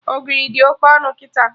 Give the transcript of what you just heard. Ogiri dị Oke ọnụ kịta